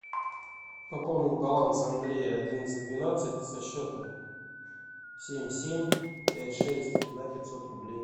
пополнить баланс андрея одиннадцать двенадцать со счета семь семь пять шесть на пятьсот рублей